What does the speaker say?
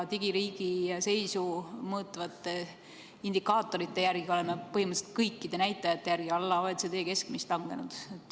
Digiriigi seisu mõõtvate indikaatorite järgi oleme põhimõtteliselt kõikide näitajate järgi langenud alla OECD keskmise.